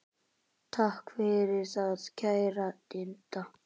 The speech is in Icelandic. Takk fyrir það, kæra Didda.